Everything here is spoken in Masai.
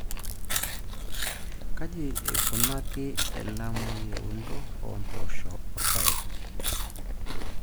Kaji eikunaki elamai eunto oo mpoosho o rpayek.